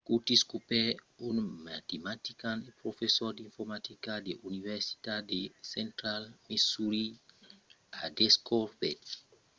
curtis cooper un matematician e professor d'informatica de l'universitat de central missouri a descobèrt lo nombre primièr mai grand fins ara lo 25 de genièr